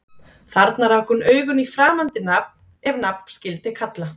Þarna rak hún augun í framandi nafn- ef nafn skyldi kalla